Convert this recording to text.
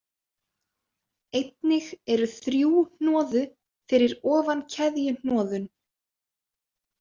Einnig eru þrjú hnoðu fyrir ofan keðjuhnoðun.